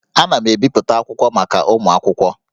Ana m ebipụta akwụkwọ maka ụmụ akwụkwọ